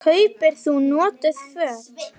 Kaupir þú notuð föt?